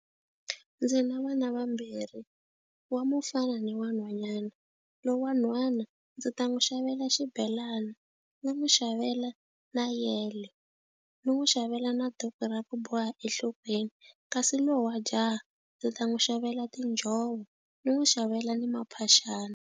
Ndzi na vana vambirhi, wa mufana ni wa nhwanyana. loyi wa nhwana ndzi ta n'wi xavela xibelana, ni n'wi xavela na yele, ni n'wi xavela na duku ra ku boha enhlokweni. Kasi loyi wa jaha ndzi ta n'wi xavela tinjhovo, ni n'wi xavela ni maphaxani.